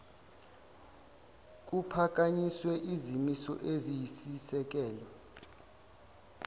kuphakanyiswe izimiso eziyisisekelo